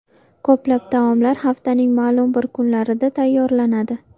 Ko‘plab taomlar haftaning ma’lum bir kunlarida tayyorlanadi.